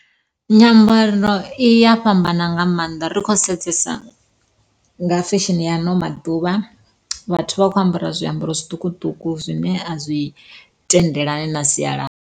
Nyambaro iya fhambana nga maanḓa ri kho sedzesa nga fesheni ya ano maḓuvha vhathu vha khou ambara zwiambaro zwiṱukuṱuku zwine a zwi tendelani na sialala.